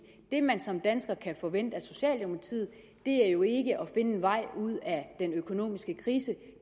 det man som dansker kan forvente sig af socialdemokratiet er jo ikke at de en vej ud af den økonomiske krise